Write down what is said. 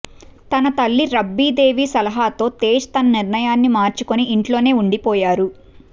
తన తల్లి రబ్రీదేవి సలహాతో తేజ్ తన నిర్ణయాన్ని మార్చుకుని ఇంట్లోనే ఉండిపోయారు